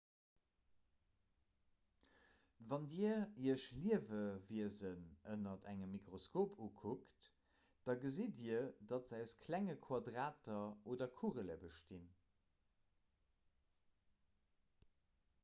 wann dir iech liewewiesen ënner engem mikroskop ukuckt da gesitt dir datt se aus klenge quadrater oder kugele bestinn